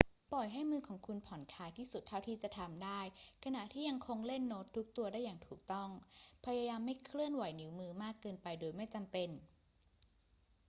ปล่อยให้มือของคุณผ่อนคลายที่สุดเท่าที่จะทำได้ขณะที่ยังคงเล่นโน้ตทุกตัวได้อย่างถูกต้อง พยายามไม่เคลื่อนไหวนิ้วมือมากเกินไปโดยไม่จำเป็น